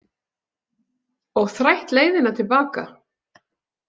Og þrætt leiðina til baka